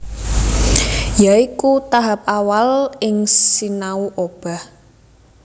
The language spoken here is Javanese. Ya iku tahap awal ing sinau obah